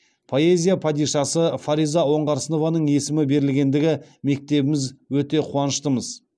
поэзия падишасы фариза оңғарсынованың есімі берілгендігі мектебіміз өте қуаныштымыз